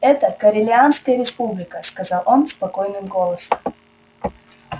это корелианская республика сказал он спокойным голосом